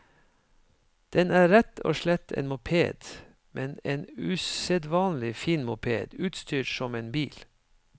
Den er rett og slett en moped, men en usedvanlig fin moped utstyrt som en bil.